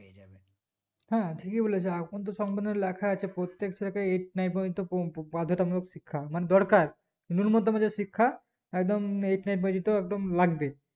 হ্যাঁ ঠিকই বলেছিস এখন তো সম্পূর্ণ লেখা আছে প্রত্যেক ছেলেকেই eight nine প্রজন্ত পপ শিক্ষা মানে দরকার নিম্নতম যে শিক্ষা একদম eight nine প্রজন্ত একদম লাগবেই